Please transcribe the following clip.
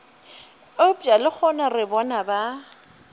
eupša lehono re bona ba